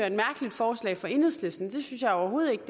et mærkeligt forslag fra enhedslisten det synes jeg overhovedet ikke